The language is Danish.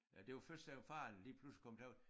Det var først da faren lige pludselig kom til os